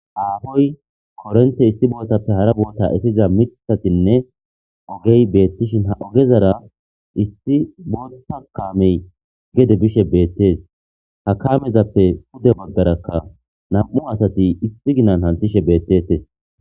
Affoyi korente issi botthappe hara botha eppiza mithathine ogge bethishin ha oggezara issi booththa kame gede bishe bethess. Ha kamezappe pudde baggara nammu' assathi issi ginan kanthishshe bethethess.